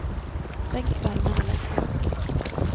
Sänk värmen och lägg på locket.